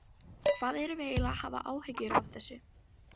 Hvað erum við eiginlega að hafa áhyggjur af þessu?